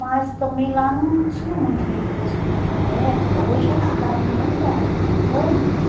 Mas também lá não tinha muito recurso, porque naquela época, hoje é uma cidade maravilhosa, mas antes...